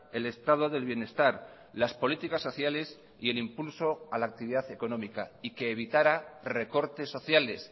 el estado del bienestar las políticas sociales y el impulso a la actividad económica y que evitara recortes sociales